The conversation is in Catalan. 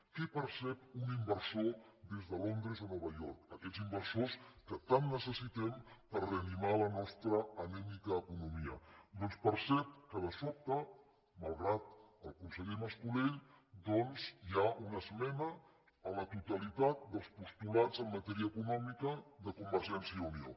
què percep un inversor des de londres o nova york aquests inversors que tant necessitem per reanimar la nostra anèmica economia doncs percep que de sobte malgrat el conseller mas colell hi ha una esmena a la totalitat dels postulats en matèria econòmica de convergència i unió